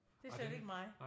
Det er slet ikke mig